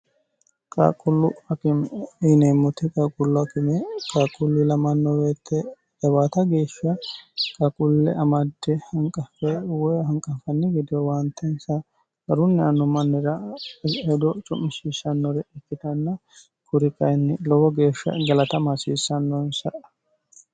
qaaqqullu akime yineemmoti qaaqqullu akime qaqullu ilamanno woyeete jawaata geeshsha qaaqulle amadde hanqaffe woy hanqanfanni gide owaanteensa garunni anno mannira hedo cu'mishishannore ikkitanna kuri kayinni lowo geeshsha galatama hasiissannonsa